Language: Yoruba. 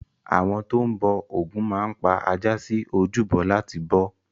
Àwọn tó ń bọ Ògún máa ń pa ajá sí ojúbọ láti bọ ọ́.